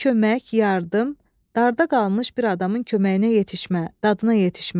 Kömək, yardım, darda qalmış bir adamın köməyinə yetişmə, dadına yetişmə.